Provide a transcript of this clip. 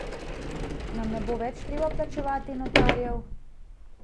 Nam ne bo več treba plačevati notarjev?